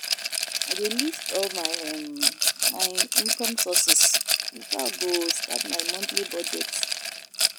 I dey list all um my income sources before I go start my monthly budget.